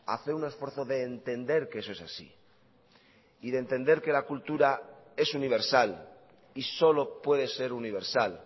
hacer un esfuerzo de entender que eso es así y de entender que la cultura es universal y solo puede ser universal